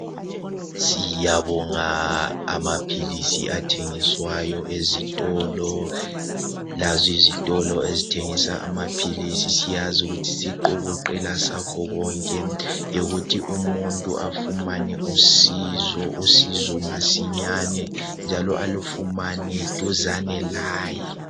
Siyabonga amaphilisi athengiswayo ezitolo. Lazo izitolo ezithengisa amaphilisi siyazi isiqokoqela sakho konke yikuthi umuntu afumane usizo, usizo masinyane njalo alufumane duzane laye.